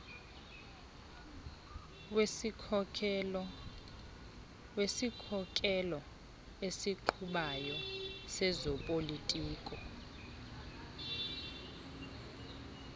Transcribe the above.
wesikhokelo esiqhubayo sezopolitiko